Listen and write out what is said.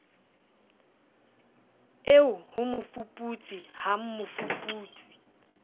eo ho mofuputsi ha mmofuputsi